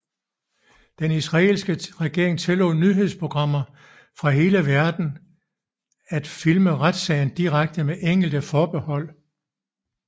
Den israelske regering tillod nyhedsprogrammer fra hele verden at filme retssagen direkte med enkelte forbehold